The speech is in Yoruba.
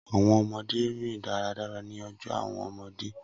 Awọn ọmọde rin daradara ni ọjọ awọn ọmọde